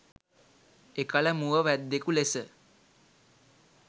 එකල මුව වැද්දෙකු ලෙස